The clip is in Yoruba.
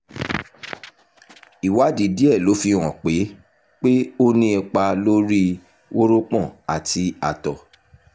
ìwádìí díẹ̀ ló fihàn pé pé ó ní ipa lórí wórópọ̀n àti àtọ̀